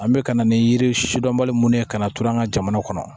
An bɛ ka na ni yiridɔli minnu ye ka na turu an ka jamana kɔnɔ